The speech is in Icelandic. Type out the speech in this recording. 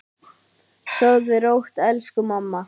Sofðu rótt, elsku mamma.